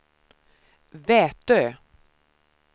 Vätö